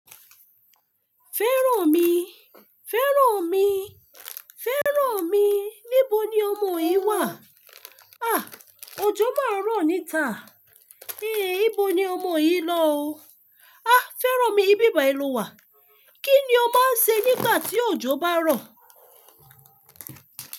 Fẹ́rànmi, Fẹ́rànmi, Fẹ́rànmi. Níbo ni ọmọ yìí wà? Ah! Ojó máa rọ̀ níta. Eh! Íbo ni ọmọ yìí lọ oo? Ah! Fẹ́rànmi, ibíbà e ló wà. Kí ni o máa ń ṣe nígbà tí ojó bá ń rọ̀?